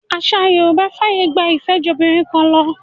Àṣà Yorùbá fàyè gba ìfẹ́jobìnrinkanlọ.